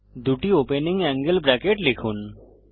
দুটি opening angle bracket লিখুন